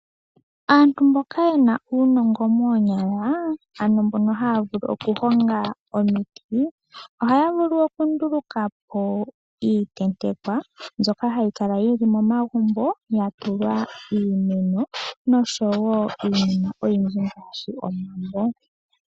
Aantu mboka yena uunongo moonyala, ano mboka ha vulu okuhonga omiti, ohaya vulu okundulukapo iitentekwa mbyoka hayi kala yili momagumbo yatulwa iimeno noshowo iinima oyindji ngaashi omambo